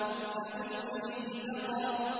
سَأُصْلِيهِ سَقَرَ